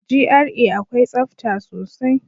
GRA akwai tsafta sosai.